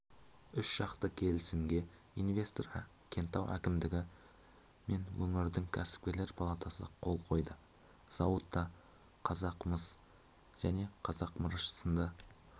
үшжақты келісімге инвестор кентау әкімдігі мен өңірдің кәсіпкерлер палатасы қол қойды зауытта қазақмыс және қазмырыш сынды